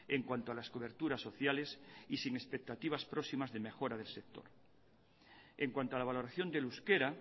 en cuanto a las coberturas sociales y sin expectativas próximas de mejora del sector en cuanto a la valoración del euskera